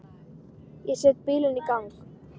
Ég set bílinn í gang.